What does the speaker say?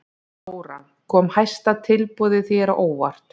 Þóra: Kom hæsta tilboðið þér á óvart?